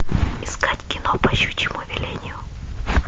искать кино по щучьему велению